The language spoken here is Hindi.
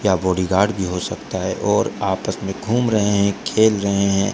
यहां बॉडीगार्ड भी हो सकता है और आपस में घूम रहे हैं खेल रहे हैं।